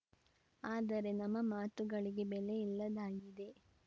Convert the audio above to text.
ಆದರೆ ನಮ್ಮ ಮಾತುಗಳಿಗೆ ಬೆಲೆ ಇಲ್ಲದಾಗಿದೆ